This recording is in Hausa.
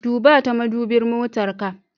Duba ta madubin motar ka.